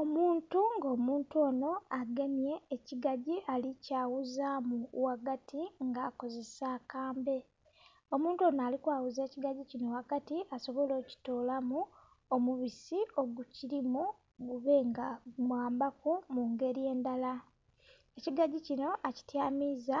Omuntu nga omuntu onho agemye ekigagyi ali kyaghuzaamu ghagati nga akozesa akambe. Omuntu onho ali kwaghuza ekogagyi kinho ghagati asobole okutoolamu omubisi obukilimu gube nga gumwambaku mu ngeli endhala. Ekigagyi kinho akityamiza